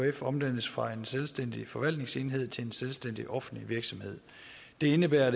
ekf omdannes fra en selvstændig forvaltningsenhed til en selvstændig offentlig virksomhed det indebærer